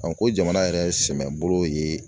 ko jamana yɛrɛ ye sɛmɛ bolo ye